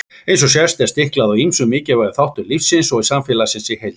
Eins og sést er stiklað á ýmsum mikilvægum þáttum lífsins og samfélagsins í heild.